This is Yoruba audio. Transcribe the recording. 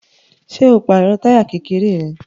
Ṣé o pàrọ̀ táyà kẹ̀kẹ́ rẹ?